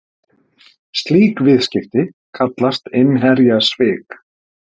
Slík viðskipti kallast innherjasvik.